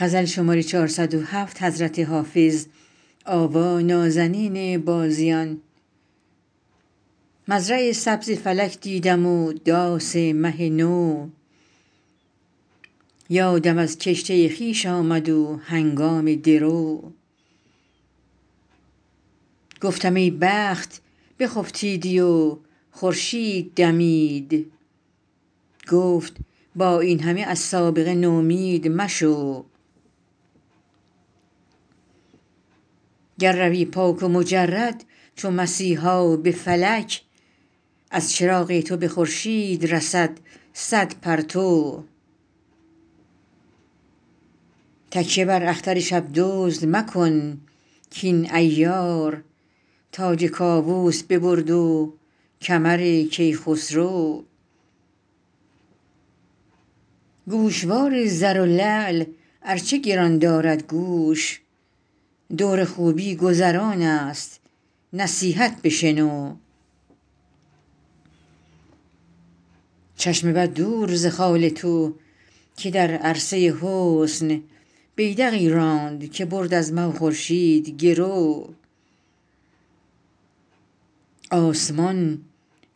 مزرع سبز فلک دیدم و داس مه نو یادم از کشته خویش آمد و هنگام درو گفتم ای بخت بخفتیدی و خورشید دمید گفت با این همه از سابقه نومید مشو گر روی پاک و مجرد چو مسیحا به فلک از چراغ تو به خورشید رسد صد پرتو تکیه بر اختر شب دزد مکن کاین عیار تاج کاووس ببرد و کمر کیخسرو گوشوار زر و لعل ار چه گران دارد گوش دور خوبی گذران است نصیحت بشنو چشم بد دور ز خال تو که در عرصه حسن بیدقی راند که برد از مه و خورشید گرو آسمان